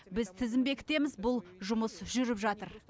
біз тізім бекітеміз бұл жұмыс жүріп жатыр